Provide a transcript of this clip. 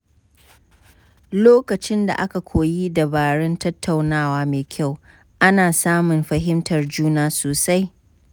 Lokacin da aka koyi dabarun tattaunawa mai kyau, ana samun fahimtar juna sosai.